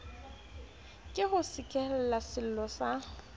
ke o sekehele sello sa